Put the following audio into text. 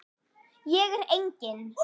Ég er engin.